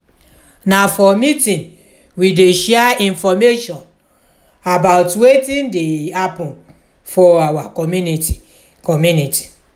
na for meeting we dey share information about wetin dey happen for our community. community.